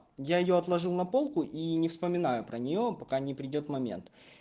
я её отложил на полку и не вспоминаю про неё пока не придёт момент